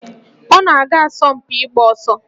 Ọ na-aga asọmpi ịgba ọsọ